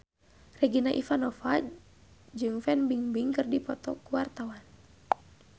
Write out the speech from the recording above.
Regina Ivanova jeung Fan Bingbing keur dipoto ku wartawan